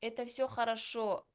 это все хорошо